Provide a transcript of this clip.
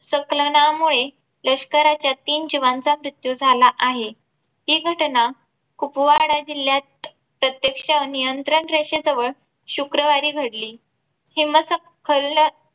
सखलनामुळे लष्कराच्या तीन जावं चा मृत्यू झाला आहे. हि घटना कुपवाडा जिल्ह्यात प्रतयेक्ष नियंत्रण रेषेजवळ शुक्रवारी घडली. हिम स खलन